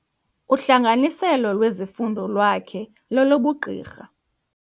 Uhlanganiselo lwezifundo lwakhe lolobugqirha.